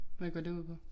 Hvad går det ud på